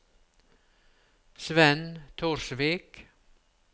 Svenn Torsvik